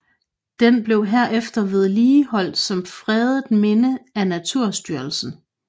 Den blev herefter vedligeholdt som fredet minde af Naturstyrelsen